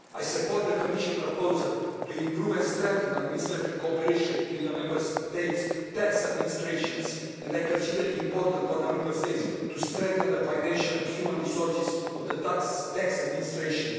I support the Commission proposal to improve and strengthen administrative cooperation between the Member States' tax administrations, and I consider it important for the Member States to strengthen the financial and human resources of the tax administration.